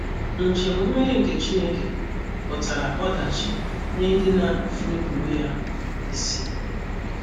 Njem mmeri nke Chineke pụtara ọdachi nye ndị na - enupụrụ ya isi.